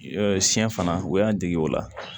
Siɲɛ fana u y'an dege o la